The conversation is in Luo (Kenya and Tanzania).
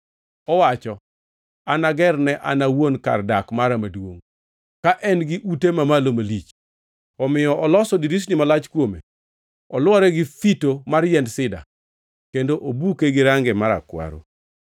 Owacho, ‘Anagerne an owuon kar dak mara maduongʼ ka en-gi ute mamalo malach.’ Omiyo oloso dirisni malach kuome, olwore gi fito mar yiend sida, kendo obuke gi range marakwaro.